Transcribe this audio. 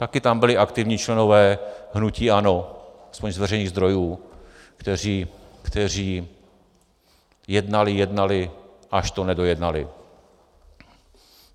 Také tam byli aktivní členové hnutí ANO, aspoň z veřejných zdrojů, kteří jednali, jednali, až to nedojednali.